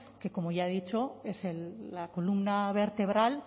que como ya he dicho es la columna vertebral